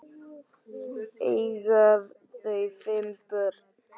Eiga þau fimm börn.